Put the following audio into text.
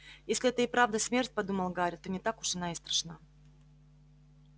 если это и правда смерть подумал гарри то не так уж она и страшна